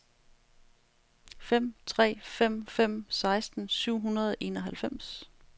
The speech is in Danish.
fem tre fem fem seksten syv hundrede og enoghalvfems